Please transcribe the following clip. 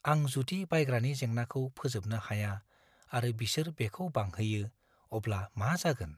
आं जुदि बायग्रानि जेंनाखौ फोजोबनो हाया आरो बिसोर बेखौ बांहोयो, अब्ला मा जागोन?